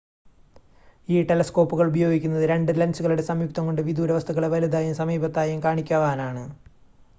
ഈ ടെലസ്കോപ്പുകൾ ഉപയോഗിക്കുന്നത് 2 ലെൻസുകളുടെ സംയുക്തം കൊണ്ട് വിദൂരവസ്തുക്കളെ വലുതായും സമീപത്തായും കാണിക്കുവാനാണ്